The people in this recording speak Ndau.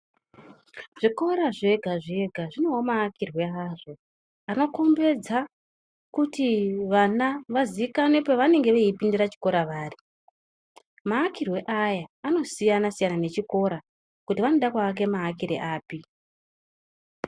Zvikora zvega-zvega zvinewo maakirwe azvo akakomberedza kuti vana vazikanwe pavanenge veipindira chikora vari. Maakirwe aya anosiyana-siyana nechikora, kuti vanoda kuvaka mavakire api.